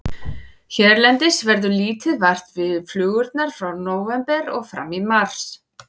Hérlendis verður lítið vart við flugurnar frá nóvember og fram í mars.